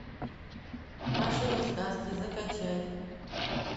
машины сказки закачай